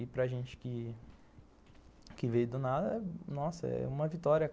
E para gente que veio do nada, nossa, é uma vitória.